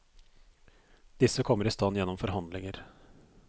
Disse kommer i stand gjennom forhandlinger.